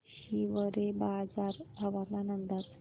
हिवरेबाजार हवामान अंदाज